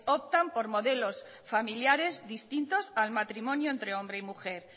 optan por modelos familiares distintos al matrimonio entre hombre y mujer